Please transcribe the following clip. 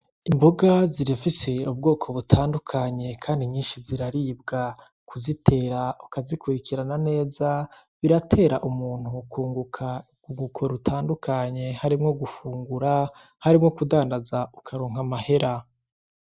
Imboga zirafise ubwoko butandukanye kandi nyinshi ziraribwa kuzitera ukazikurikirana neza biratera umuntu kunguka urwunguko rutandukanye harimwo gufungura, harimwo no kudandaza ukaronka amahera.